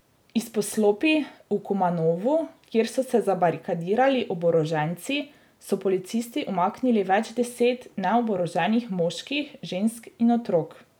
Iz poslopij v Kumanovu, kjer so se zabarikadirali oboroženci, so policisti umaknili več deset neoboroženih moških, žensk in otrok.